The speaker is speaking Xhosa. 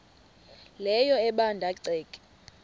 leyo ebanda ceke